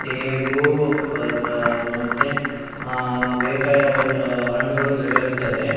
ಸೇಬು ಆ ಮತ್ತೆ ಆ ಬೇಕಾಗಿರುವ ಹಣ್ಣುಗಳು ದೊರೆಯುತ್ತದೆ.